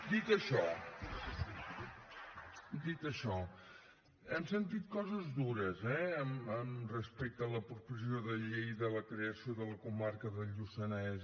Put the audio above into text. dit això dit això hem sentit coses dures eh respecte a la proposició de llei de la creació de la comarca del lluçanès